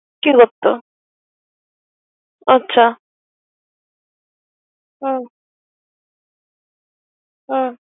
কে করত আচ্ছা হুম হুম হুম।